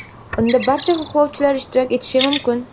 Unda barcha xohlovchilar ishtirok etishi mumkin.